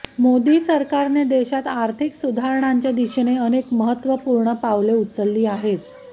मोदी सरकारने देशात आर्थिक सुधारणांच्या दिशेने अनेक महत्त्वपूर्ण पावले उचलली आहेत